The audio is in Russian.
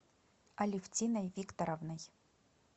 алевтиной викторовной